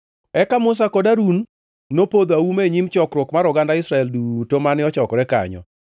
Eka Musa kod Harun nopodho auma e nyim chokruok mar oganda Israel duto mane ochokore kanyo.